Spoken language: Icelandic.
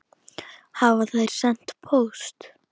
Hafa þær sent póst?